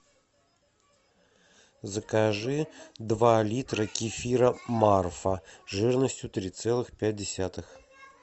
закажи два литра кефира марфа жирностью три целых пять десятых